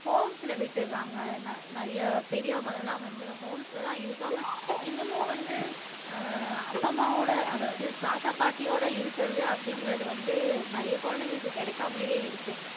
ஹோம்ஸ்ல விட்டுடுறாங்க நி நிறைய பெரியவங்கள எல்லாம் வந்து ஹோம்ஸ்லதான் இருக்காங்க இன்னமும் வந்து ஆஹ் அப்பா அம்மாவோட அதாவது தாத்தா பாட்டியோட இருக்குறது அப்படிங்கிறது வந்து நிறைய குழந்தைங்களுக்கு கிடைக்காமலேயே இருக்கு